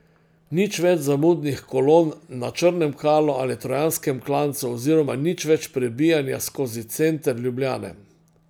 Nič več zamudnih kolon na Črnem Kalu ali trojanskem klancu oziroma nič več prebijanja skozi center Ljubljane.